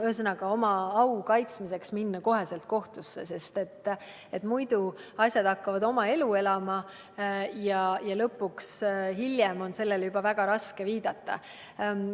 Ühesõnaga, oma au kaitsmiseks tuleks kohe minna kohtusse, sest muidu hakkavad asjad oma elu elama ja hiljem on sellele väga raske viidata.